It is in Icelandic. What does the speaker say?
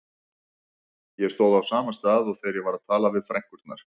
Ég stóð á sama stað og þegar ég var að tala við frænkurnar.